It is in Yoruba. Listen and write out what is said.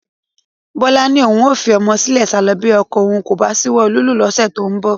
Bọ́lá ni òun a fi ọmọ sílẹ̀ sálọ bí ọkọ òun kò bá ṣíwọ́ lílù ú lóṣù tó ń bọ̀